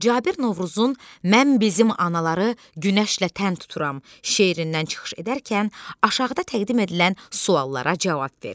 Cabir Novruzun "Mən bizim anaları günəşlə tən tuturam" şeirindən çıxış edərkən aşağıda təqdim edilən suallara cavab ver.